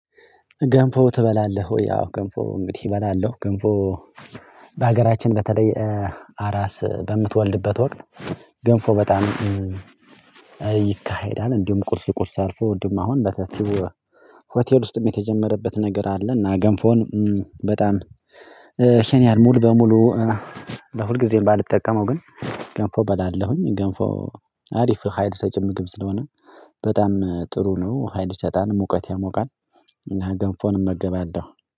ገንፎ ትበላለህ ወይ? አዎ ገንፎ እንግዲህ እበላለሁ ገንፎ በሀገራችን በተለይ አራስ በምትወልድበት ወቅት ገንፎ በጣም ይካሄዳል። እንዲሁም ቁርስ ቁርስ አልፎ እንዲሁም አሁን በተለይ ሆቴል ውስጥም የተጀመረበት ነገር አለ። እና ገንፎን በጣም ሸኔያል። ሙሉ በሙሉ ለሁልጊዜም ባልጠቀመው ግን ገንፎ በላለሁኝ። ገንፎ አሪፍ ሀይል ሰጭም ምግብ ስለሆነ በጣም ጥሩ ነው። ሀይል ይሰጣል ሙቀት ያሞቃል። እና ገንፎን እመገባለሁ